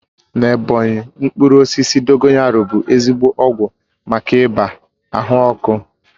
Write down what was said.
Na Ebọnyi, mkpụrụ osisi dogoyaru bụ ezigbo ọgwụ maka ibàa ahụ ọkụ